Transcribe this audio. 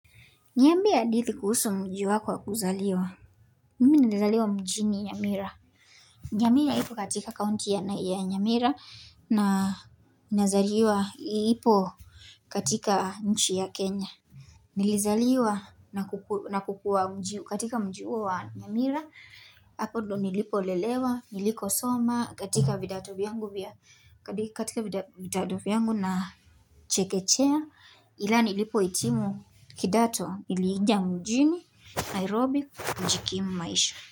Niambie hadithi kuhusu mji wako wa kuzaliwa. Mimi nimezaliwa mjini Nyamira. Nyamira ipo katika kaunti ya Nyamira na ipo katika nchi ya Kenya. Nilizaliwa na kukua katika mji huo wa Nyamira. Hapo ndiyo nilipo lelewa, niliko soma katika vidato vyangu na chekechea. Ilanilipo hitimu kidato niliingia mjini nairobi kujikimu maisha.